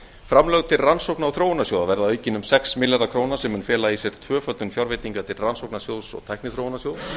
framlög til rannsókna og þróunarsjóða verða aukin um sex milljarða króna sem mun fela í sér tvöföldun fjárveitinga til rannsóknasjóðs og tækniþróunarsjóðs